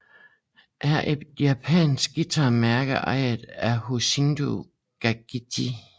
er et japansk guitarmærke ejet af Hoshino Gakki